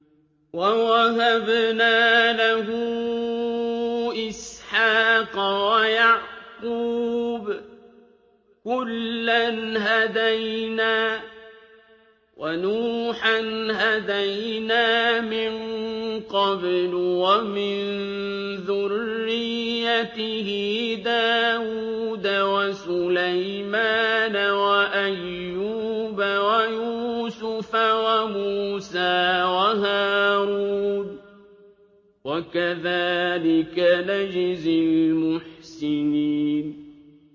وَوَهَبْنَا لَهُ إِسْحَاقَ وَيَعْقُوبَ ۚ كُلًّا هَدَيْنَا ۚ وَنُوحًا هَدَيْنَا مِن قَبْلُ ۖ وَمِن ذُرِّيَّتِهِ دَاوُودَ وَسُلَيْمَانَ وَأَيُّوبَ وَيُوسُفَ وَمُوسَىٰ وَهَارُونَ ۚ وَكَذَٰلِكَ نَجْزِي الْمُحْسِنِينَ